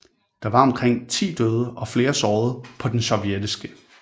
Der var omkring 10 døde og flere sårede på den sovjetiske